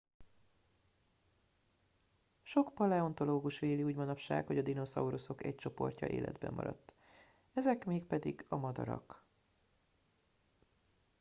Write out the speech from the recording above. sok paleontológus véli úgy manapság hogy a dinoszauruszok egy csoportja életben maradt ezek mégpedig a madarak